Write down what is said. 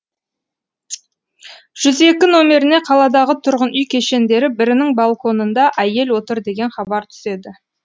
жүз екі номеріне қаладағы тұрғын үй кешендері бірінің балконында әйел отыр деген хабар түседі